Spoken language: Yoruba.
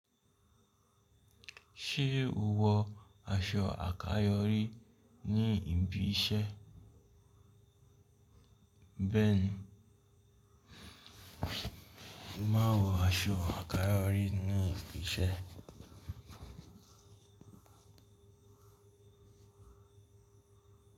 Ṣé o wọ aṣọ àkáyọrí ní ibi iṣẹ́? Béẹ̀ni, mo màá wọ aṣọ àkáyọrí ní ibi iṣẹ́